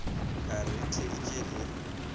ka re re theeditše le